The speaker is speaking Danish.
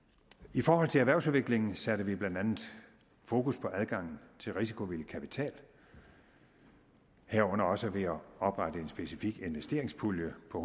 i forhold til erhvervsudviklingen satte vi blandt andet fokus på adgangen til risikovillig kapital herunder også ved at oprette en specifik investeringspulje på